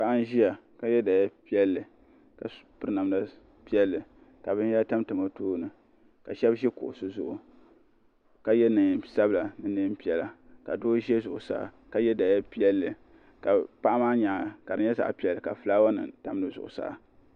paɣ' n ʒɛya ka yɛ daliya piɛli ka pɛri namida piɛli ka bɛyahiri tamitami o tuuni ka shɛbi ʒɛ kuɣisi zuɣ' ka yɛ nɛɛsabila ni nɛɛʒiɛhi mini nɛɛ piɛla ka do ʒɛ zuɣ' saa ka yɛ daliya piɛli ka paɣ' maa nyɛŋa ka ri nyɛ zaɣ' piɛli ka taabu nim tam si zuɣ' saa